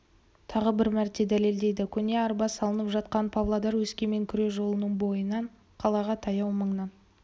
тағы бір мәрте дәлелдейді көне арба салынып жатқан павлодар-өскемен күре жолының бойынан қалаға таяу маңнан